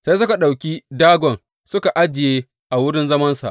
Sai suka ɗauki Dagon suka ajiye a wurin zamansa.